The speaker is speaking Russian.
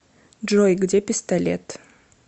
джой где пистолет